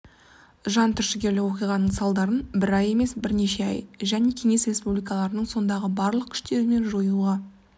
жантүршігерлік оқиғаның салдарын бір ай емес бірнеше ай және кеңес республикаларының сондағы барлық күштерімен жоюға